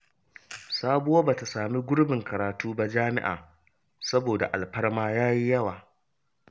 Sabuwa ba ta samu gurbin karatu ba jami'a saboda alfarma ta yi yawa.